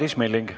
Madis Milling.